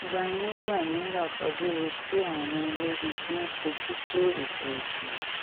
gbanábíàmílà fajú ro sí àwọn ológun tó ń fojú tó ètò ìbò